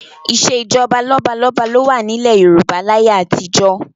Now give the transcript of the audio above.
Ìṣèjọba lọ́balọ́ba ló wà nílẹ̀ Yorùbá láyé àtijọ́